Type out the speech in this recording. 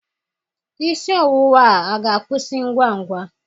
Isi ọwụwa a ga-akwụsị ngwa ngwa?